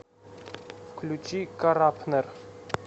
включи карапнер